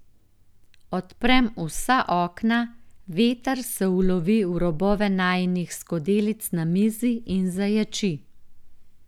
Odprem vsa okna, veter se ulovi v robove najinih skodelic na mizi in zaječi.